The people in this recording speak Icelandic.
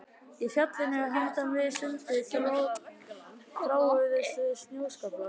Í fjallinu handan við sundið þráuðust við snjóskaflar.